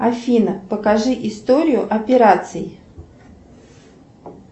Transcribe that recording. афина покажи историю операций